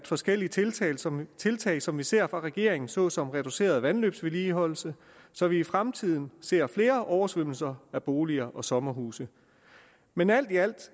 forskellige tiltag som tiltag som vi ser fra regeringen såsom reduceret vandløbsvedligeholdelse så vi i fremtiden ser flere oversvømmelser af boliger og sommerhuse men alt i alt